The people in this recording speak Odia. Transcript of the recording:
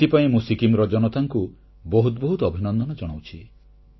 ଏଥିପାଇଁ ମୁଁ ସିକ୍କିମର ଜନତାଙ୍କୁ ବହୁତ ବହୁତ ଅଭିନନ୍ଦନ ଜଣାଉଛି